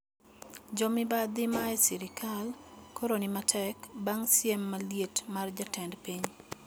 Jomibadhi e sirkal koro ni matek bang` siem maliet mar jatend piny